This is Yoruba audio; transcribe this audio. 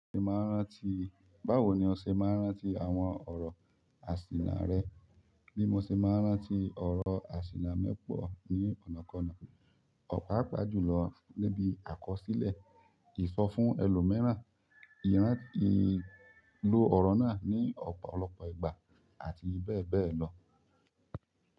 Báwo ni o ṣé máa ǹ rántí àwọn ọrọ aṣina rẹ́? Bí mo ṣe máa rántí ọ̀rọ̀ àsìnà mi pọ̀ ní ọ̀nàkọ́na, ọ̀ páapàa jùlọ nibi àkọsílẹ̀, ìsọfún ẹlòmíràn, ìlo ọ̀rọ̀ náà ní ọ̀pọ̀lọpọ̀ ìgbà àti bẹ́ẹ̀ bẹ́ẹ̀ lọ.